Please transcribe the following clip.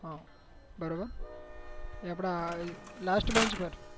હા બરોબર એ અપડા લાસ્ટ બેંચ પર